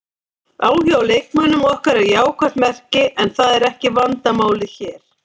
Áhugi á leikmönnum okkar er jákvætt merki en það er ekki vandamálið hér.